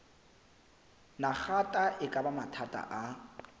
nagata e baka mathata a